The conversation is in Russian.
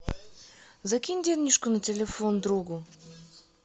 закинь денежку на телефон другу